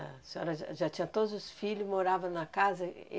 A senhora já tinha todos os filhos, morava na casa.